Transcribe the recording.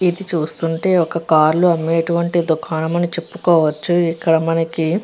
ఇది చూస్తూ ఉంటుంటే ఒక కారులో అమ్మేటువంటి దుకాణం అని చెప్పుకోవచ్చు ఇక్కడ మనకి --